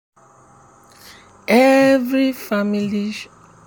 every ancestral crop celebration start as dem dey carry yam for head go family shrine.